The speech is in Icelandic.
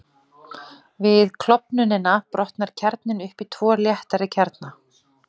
Við klofnunina brotnar kjarninn upp í tvo léttari kjarna.